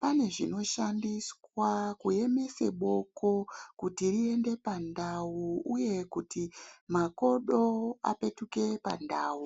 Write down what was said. pane zvinoshandiswa kuemesa boko kuti riende pandau uye kuti makodo apetuke pandau.